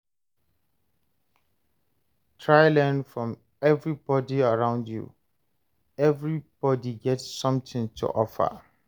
Try learn from everybody around you; everybody get something to offer.